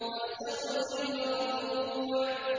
وَالسَّقْفِ الْمَرْفُوعِ